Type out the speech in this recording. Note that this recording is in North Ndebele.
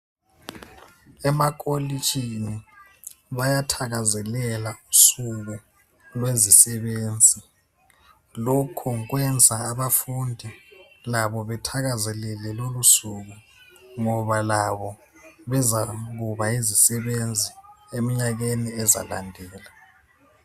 Emakolotshini bayathakazelela usuku lwezisebenzi. Lokho kwenza abafundi labo bethakazelele lolo suku ngoba labo bezakuba yizisebenzi emnyakeni ezayo.